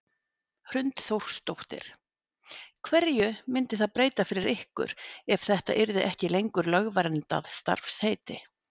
Hrund Þórsdóttir: Hverju myndi það breyta fyrir ykkur ef þetta yrði ekki lengur lögverndað starfsheiti?